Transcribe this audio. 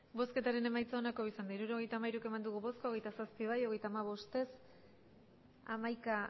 hirurogeita hamairu eman dugu bozka hogeita zazpi bai hogeita hamabost ez hamaika